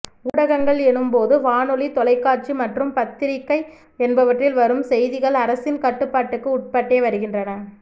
ஊடகங்கள் எனும் போது வானொலி தொலைக்காட்சி மற்றும் பத்திரிகை என்பவற்றில் வரும் செய்திகள் அரசின் கட்டுபாட்டுக்கு உட்பட்டே வருகின்றன